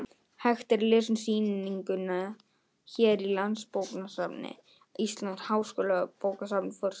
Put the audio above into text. Hægt er að lesa um sýninguna hér: Landsbókasafn Íslands- Háskólabókasafn: Forsíða.